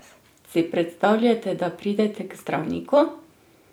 Si predstavljate, da pridete k zdravniku?